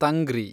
ತಂಗ್ರಿ